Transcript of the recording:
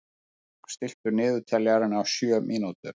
Aðalbjörg, stilltu niðurteljara á sjö mínútur.